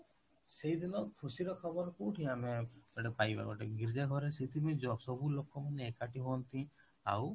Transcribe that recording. ଦେଇଦେଲ ଖୁସିର ଖବର କୋଉଠି ଆମେ ପାଇବା ଗୋଟେ ଗୀର୍ଜା ଘରେ ସେଇଥି ପାଇଁ ସବୁ ଲୋକଙ୍କୁ ମାନେ ଏକାଠି ହୁଅନ୍ତି ଆଉ